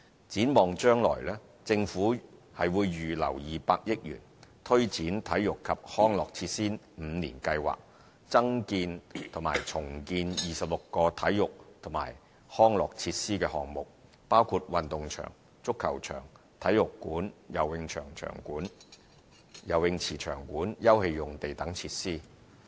展望將來，政府已預留200億元，推展"體育及康樂設施五年計劃"，增建或重建26個體育及康樂設施的項目，包括運動場、足球場、體育館、游泳池場館、休憩用地等設施。